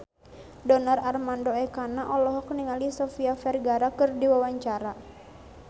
Donar Armando Ekana olohok ningali Sofia Vergara keur diwawancara